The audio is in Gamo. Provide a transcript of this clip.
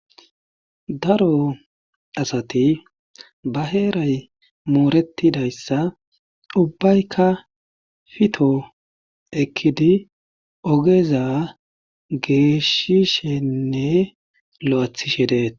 daro asati ba heeray mooretidayssa ubbaykka fito ekkidi ogeza geeshishenne lo'athishe de'etes